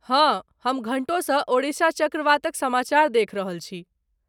हँ, हम घण्टोसँ ओडिशा चक्रवातक समाचार देखि रहल छी।